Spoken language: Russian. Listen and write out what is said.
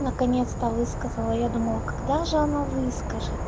наконец-то высказала я думала когда же она выскажет